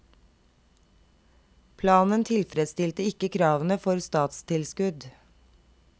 Planen tilfredsstilte ikke kravene for statstilskudd.